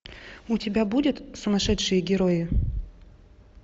у тебя будет сумасшедшие герои